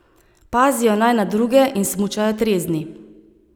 Pazijo naj na druge in smučajo trezni.